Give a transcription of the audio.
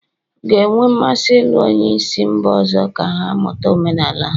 ga-enwe mmasị ịlụ onye si mba ọzọ ka ha mụta omenala ha